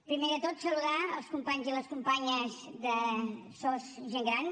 primer de tot saludar els companys i les companyes de sos gent gran